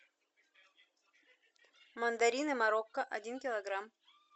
мандарины марокко один килограмм